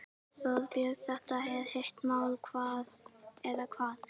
Þorbjörn, þetta er hitamál eða hvað?